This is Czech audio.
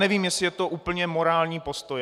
Nevím, jestli je to úplně morální postoj.